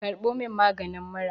karbo min magani mura!